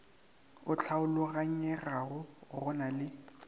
o hlaologanyegago go na le